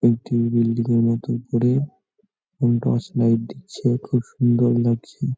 একটি বিল্ডিং -এর মতো উপরে উম টর্চ লাইট দিচ্ছে খুব সুন্দর লাগছে।